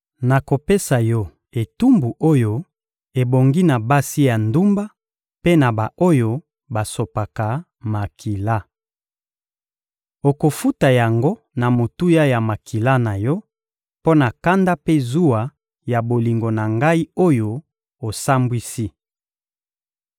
Nakopesa yo etumbu oyo ebongi na basi ya ndumba mpe na ba-oyo basopaka makila. Okofuta yango na motuya ya makila na yo, mpo na kanda mpe zuwa ya bolingo na Ngai oyo osambwisi.